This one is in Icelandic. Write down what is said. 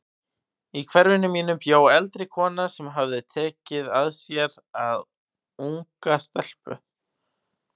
Í hverfinu mínu bjó eldri kona sem tekið hafði að sér unga stelpu.